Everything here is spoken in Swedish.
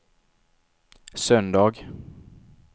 söndag